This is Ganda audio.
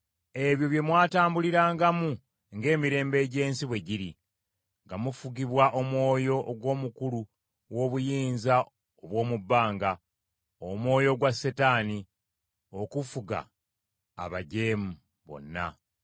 Ebyo bye mwatambulirangamu ng’emirembe egy’ensi bwe giri, nga mufugibwa omwoyo ogw’omukulu w’obuyinza obw’omu bbanga, omwoyo ogwa Setaani, ogufuga abajeemu bonna.